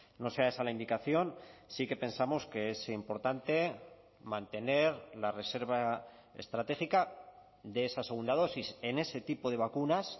no sea esa la indicación sí que pensamos que es importante mantener la reserva estratégica de esa segunda dosis en ese tipo de vacunas